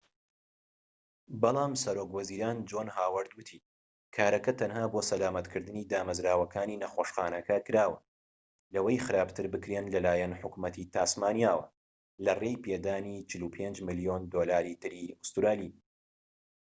بەلام سەرۆک وەزیران جۆن هاوەرد وتی کارەکە تەنها بۆ سەلامەتکردنی دامەزراوەکانی نەخۆشخانەکە کراوە لەوەی خراپتر بکرێن لەلایەن حکومەتی تاسمانیاوە، لەڕێی پێدانی ٤٥ ملیۆن دۆلاری تری ئوستورالی